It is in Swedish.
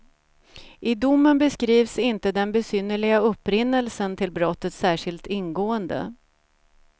I domen beskrivs inte den besynnerliga upprinnelsen till brottet särskilt ingående.